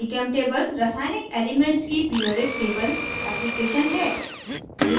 gchemtable रासायनिक elements की periodic table application है